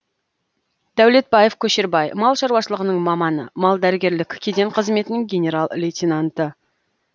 дәулетбаев көшербай мал шаруашылығының маманы мал дәрігерлік кеден қызметінің генерал лейтененті